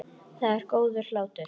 Það er góður hlátur.